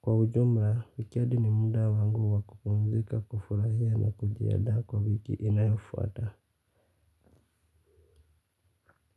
Kwa ujmla, weekend ni muda wangu wa kupumzika, kufurahia na kujiandaa kwa wiki inayofuata.